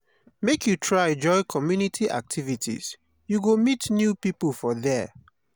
make you try join community activities you go meet new pipo for there.